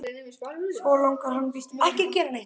Svo langar hann víst til að sýna þér dálítið.